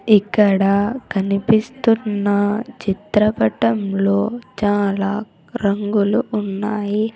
ఇక్కడ కనిపిస్తున్న చిత్రపటంలో చాలా రంగులు ఉన్నాయి.